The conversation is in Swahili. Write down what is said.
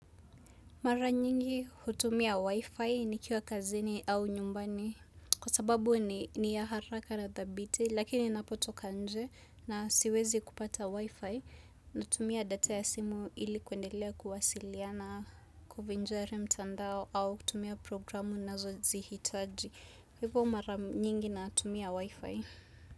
Mara nyingi hutumia wifi nikiwa kazini au nyumbani kwa sababu ni ya haraka na thabiti lakini napotoka nje na siwezi kupata wifi natumia data ya simu ili kwendelea kuwasiliana kufinjare mtandao au kutumia programu nazozihitaji. Hivyo mara nyingi natumia wifi.